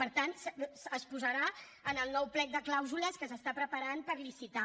per tant es posarà en el nou plec de clàusules que s’està preparant per licitar